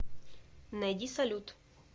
найди салют